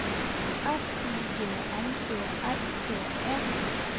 S I G N E R T E